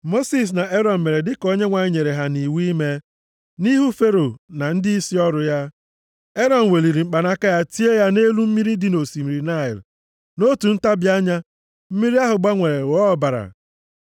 Mosis na Erọn mere dị ka Onyenwe anyị nyere ha nʼiwu ime. Nʼihu Fero na ndịisi ọrụ ya, Erọn weliri mkpanaka ya tie ya nʼelu mmiri dị nʼosimiri Naịl. Nʼotu ntabi anya, mmiri ahụ gbanwere ghọọ ọbara.